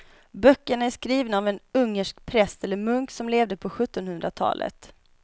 Böckerna är skrivna av en ungersk präst eller munk som levde på sjuttonhundratalet.